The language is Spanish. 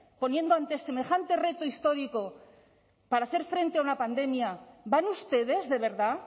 poniendo ante semejante reto histórico para hacer frente a una pandemia van ustedes de verdad